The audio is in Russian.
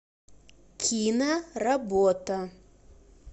киноработа